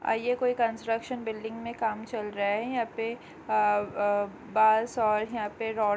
यह कोई construction building में काम चल रहा है यहाँ पे अ अ बांस और यहाँ पे रोड् --